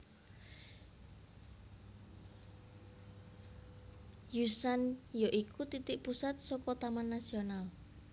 Yushan ya iku titik pusat saka Taman Nasional